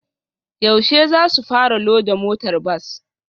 Yaushe zasu fara loda motar bas?